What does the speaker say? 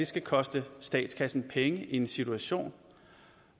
skal koste statskassen penge i en situation